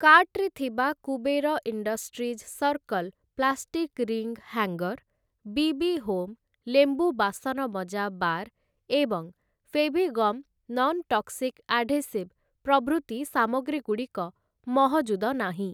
କାର୍ଟ୍‌ରେ ଥିବା Kuber industries circle plastic ring hanger, BB home ଲେମ୍ବୁ ବାସନମଜା ବାର୍ ଏବଂ ଫେଭିଗମ୍ ନନ୍ ଟକ୍ସିକ୍‌ ଆଢେସିଭ୍‌ ପ୍ରଭୃତି ସାମଗ୍ରୀଗୁଡ଼ିକ ମହଜୁଦ ନାହିଁ ।